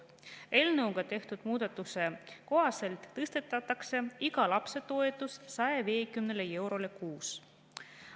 Selle eelnõuga tehtava muudatuse kohaselt tõstetakse iga lapse toetus 150 euroni kuus.